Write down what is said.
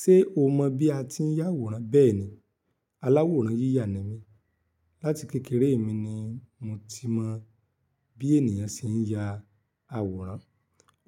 Ṣé o mọ̀ bí a ti ń ya àwòrán? Bẹ́ẹ̀ni, aláwòrán yíyà ni mí. Lati kékeré mi ni mo ti mọ bí ènìyàn ṣe ń ya àwòrán.